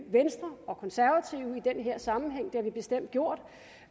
venstre og konservative i den her sammenhæng det har vi bestemt gjort